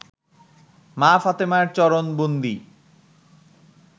মা ফাতেমার চরণ বন্দি